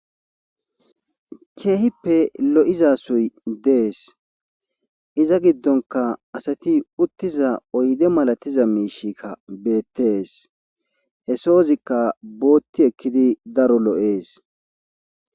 keehippe lo7izasoy dees iza giddonka asati uttiza oyde malatiza miishikka beettees he soozikka bootti ekkidi daro lo7ees